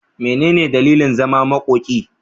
Mene ne dalilin zaman makoki?